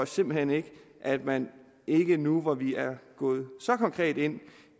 simpelt hen ikke at man ikke nu hvor vi er gået så konkret ind